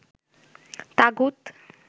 তাগুত